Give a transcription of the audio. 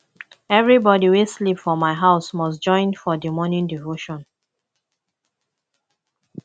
everybodi wey sleep for my house must join for di morning devotion